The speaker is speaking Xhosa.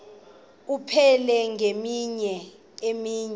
abupheli ngemini enye